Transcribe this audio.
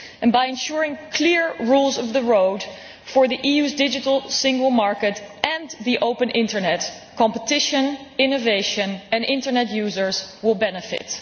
By ensuring clear rules of the road for the EU digital single market and the open Internet, competition, innovation and Internet users will benefit.